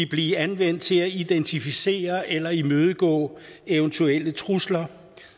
blive anvendt til at identificere eller imødegå eventuelle trusler